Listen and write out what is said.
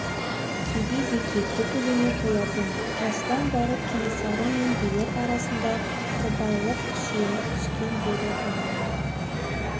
кейде зекет те төлемей қоятын осыдан барып кенесары мен билер арасында қырбайлық күшейе түскен еді бұны